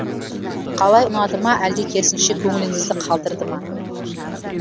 қалай ұнады ма әлде керісінше көңілінізді қалдырды ма